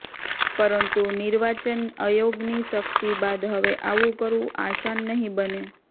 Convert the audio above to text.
પરંતુ નિર્વાચન આયોગની સખ્તી બાદ હવે આવું કરવું આસાન નહીં બને